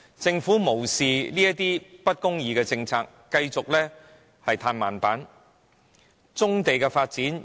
政府無視這些政策的不公義之處，繼續對棕地的發展"歎慢板"。